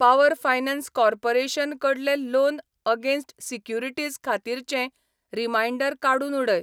Power finance corporation कडले loan against securities खातीरचे reminder काडून उडय.